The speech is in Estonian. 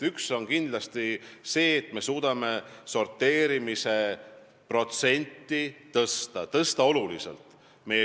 Üks asi on kindlasti see, et me suudame sorteerimise protsenti tõsta ja tõsta oluliselt.